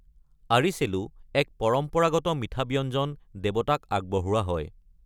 আৰিছেলু, এক পৰম্পৰাগত মিঠা ব্যঞ্জন দেৱতাক আগবঢ়োৱা হয়।